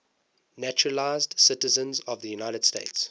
naturalized citizens of the united states